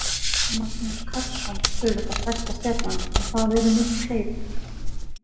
Magnús Karlsson auðvitað stærsta stjarnan en það eru miklu fleiri?